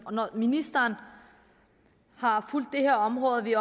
når ministeren har fulgt det her område at vi